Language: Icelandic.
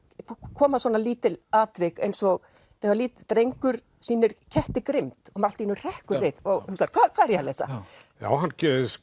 koma svona lítil atvik eins og þegar lítill drengur sýnir ketti grimmd og maður allt í einu hrekkur við og hugsar hvað er ég að lesa hann